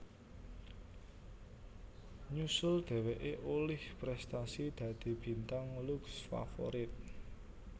Nyusul dheweké olih prestasi dadi Bintang Lux Favorit